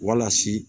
Walasi